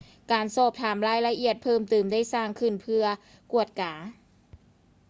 ການສອບຖາມລາຍລະອຽດເພີ່ມເຕີມໄດ້ສ້າງຂຶ້ນເພື່ອກວດກາ